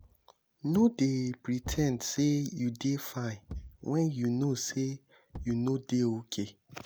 nor dey pre ten d sey you dey fine wen you know sey you nor dey okay.